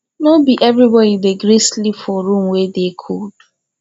no be everybodi dey gree sleep for room wey dey cold